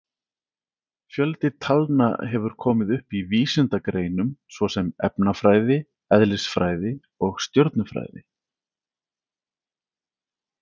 Fjöldi talna hefur komið upp í vísindagreinum svo sem efnafræði, eðlisfræði og stjörnufræði.